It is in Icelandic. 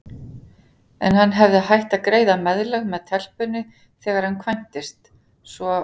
En hann hefði hætt að greiða meðlag með telpunni þegar hann kvæntist, svo